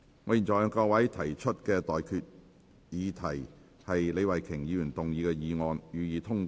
我現在向各位提出的待決議題是：李慧琼議員動議的議案，予以通過。